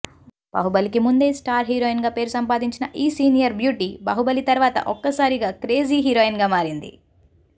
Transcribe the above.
బాహుబలికి ముందే స్టార్ హీరోయిన్గా పేరు సంపాదించిన ఈ సీనియర్ బ్యూటీ బాహుబలి తరువాత ఒక్కసారిగా క్రేజీ హీరోయిన్గా మారింది